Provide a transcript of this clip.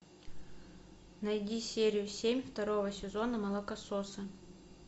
найди серию семь второго сезона молокососы